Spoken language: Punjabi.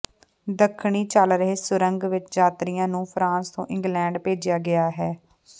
ਦੱਖਣੀ ਚੱਲ ਰਹੇ ਸੁਰੰਗ ਵਿਚ ਯਾਤਰੀਆਂ ਨੂੰ ਫਰਾਂਸ ਤੋਂ ਇੰਗਲੈਂਡ ਭੇਜਿਆ ਗਿਆ ਹੈ